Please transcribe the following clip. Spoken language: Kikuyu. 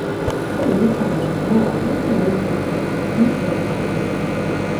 Ũyũ wĩtagwo mũrimũ wa Post Lyme Syndrome(PLDS)